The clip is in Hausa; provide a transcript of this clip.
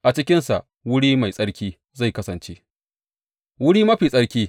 A cikinsa wuri mai tsarki zai kasance, Wuri Mafi Tsarki.